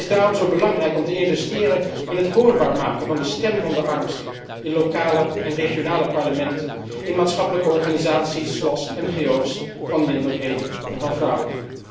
Het is daarom zo belangrijk om te investeren in het hoorbaar maken van de stem van de armsten, in lokale en regionale parlementen, in maatschappelijke organisaties, zoals NGO's van minderheden en van vrouwen.